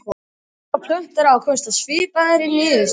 Dýr og plöntur hafa komist að svipaðri niðurstöðu.